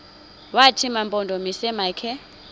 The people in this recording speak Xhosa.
wathi mampondomise makhe